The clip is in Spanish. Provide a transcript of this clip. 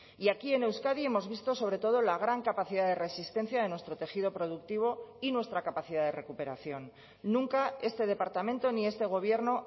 y aquí en euskadi hemos visto sobre todo la gran capacidad de resistencia de nuestro tejido productivo y nuestra capacidad de recuperación nunca este departamento ni este gobierno